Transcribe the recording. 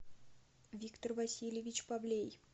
виктор васильевич павлей